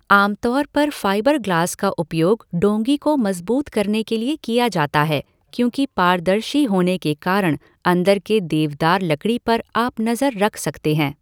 आम तौर पर फ़ाइबर ग्लास का उपयोग डोंगी को मजबूत करने के लिए किया जाता है क्योंकि पारदर्शी होने के कारण अंदर के देवदार लकड़ी पर आप नज़र रख सकते हैं।